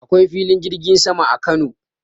Akwai filin jirgin sama a Kano.